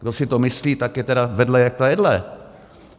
Kdo si to myslí, tak je tedy vedle jak ta jedle.